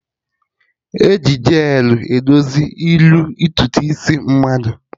Eji hel edozi iru ntutu isi mmadụ